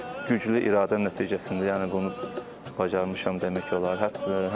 Güclü iradə nəticəsində yəni bunu bacarmışam demək olar.